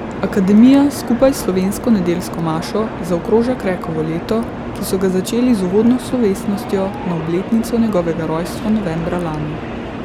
Akademija skupaj s slovesno nedeljsko mašo zaokroža Krekovo leto, ki so ga začeli z uvodno slovesnostjo na obletnico njegovega rojstva novembra lani.